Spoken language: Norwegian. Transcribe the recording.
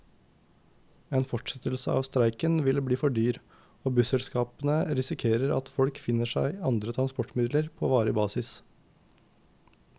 En fortsettelse av streiken ville bli for dyr, og busselskapene risikerer at folk finner seg andre transportmidler på varig basis.